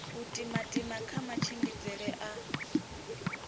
u timatima kha matshimbidzele a